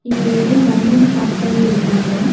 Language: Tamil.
இங்க நெறைய வண்டிங்க பார்க் பண்ணி இருக்காங்க.